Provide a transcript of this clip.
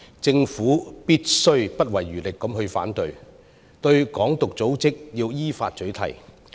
政府必須不遺餘力地反對、依法取締"港獨"組織。